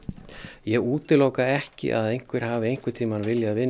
ég útiloka ekki að einhver hafi einhvern tímann viljað vinna